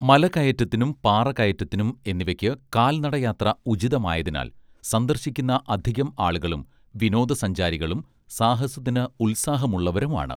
മലകയറ്റത്തിനും പാറകയറ്റത്തിനും എന്നിവയ്ക്ക് കാൽ നടയാത്ര ഉചിതമായതിനാൽ സന്ദർശിക്കുന്ന അധികം ആളുകളും വിനോദ സഞ്ചാരികളും സാഹസത്തിന് ഉൽസാഹമുള്ളവരുമാണ്